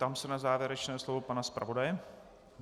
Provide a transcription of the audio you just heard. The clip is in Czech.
Ptám se na závěrečné slovo pana zpravodaje.